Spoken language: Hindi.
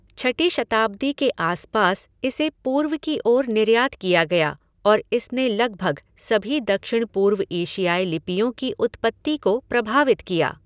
छठी शताब्दी के आस पास इसे पूर्व की ओर निर्यात किया गया और इसने लगभग सभी दक्षिण पूर्व एशियाई लिपियों की उत्पत्ति को प्रभावित किया।